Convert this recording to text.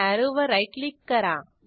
अॅरोवर right click करा